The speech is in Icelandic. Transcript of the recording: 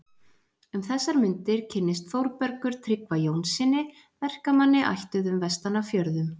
Um þessar mundir kynnist Þórbergur Tryggva Jónssyni, verkamanni ættuðum vestan af fjörðum.